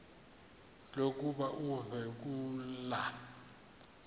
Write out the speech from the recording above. lokuba uve kulaa